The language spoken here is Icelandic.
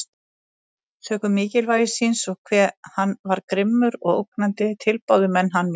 Sökum mikilvægi síns, og hve hann var grimmur og ógnandi, tilbáðu menn hann mjög.